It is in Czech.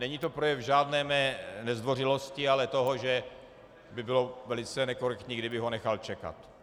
Není to projev žádné mé nezdvořilosti, ale toho, že by bylo velice nekorektní, kdybych ho nechal čekat.